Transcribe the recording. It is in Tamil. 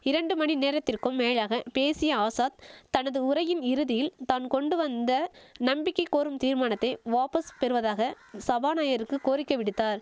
இரண்டு மணி நேரத்திற்கும் மேலாக பேசிய ஆசாத் தனது உரையின் இறுதியில் தான் கொண்டு வந்த நம்பிக்கை கோரும் தீர்மானத்தை வாபஸ் பெறுவதாக சபாநாயகருக்கு கோரிக்கை விடுத்தார்